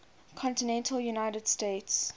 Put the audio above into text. continental united states